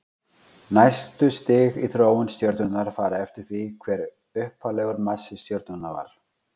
næstu stig í þróun stjörnunnar fara eftir því hver upphaflegur massi stjörnunnar var